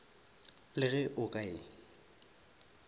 le ge o ka e